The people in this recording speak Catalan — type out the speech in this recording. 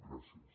gràcies